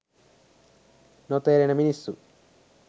නොතේරෙන මිනිස්සු.